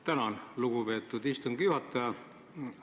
Tänan, lugupeetud istungi juhataja!